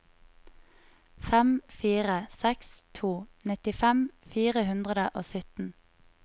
fem fire seks to nittifem fire hundre og sytten